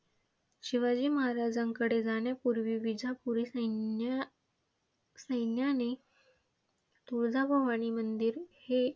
शिवाजी महाराजांकडे जाण्यापूर्वी विजापुरी सैन्या सैन्याने तुळजाभवानी मंदिर हे